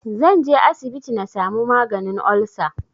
Zanje asibiti na samu maganin olsa